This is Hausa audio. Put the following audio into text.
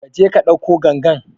Kaje ka ɗauko gangan